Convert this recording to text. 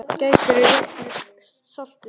Gætirðu rétt mér saltið?